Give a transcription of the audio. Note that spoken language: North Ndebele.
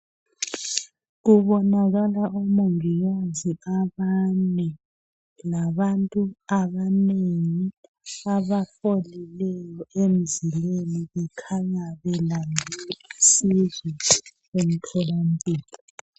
Kubonakala omongikazi abane labantu abanengi abafolileyo emzileni bekhanya belande usizo lwemtholampilo.